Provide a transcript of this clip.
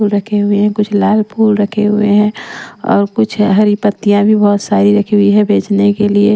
रखे हुए हैं कुछ लाल फूल रखे हुए हैं और कुछ हरी पत्तियाँ भी बहुत सारी रखी हुई हैं बेचने के लिए--